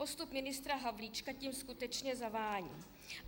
Postup ministra Havlíčka tím skutečně zavání.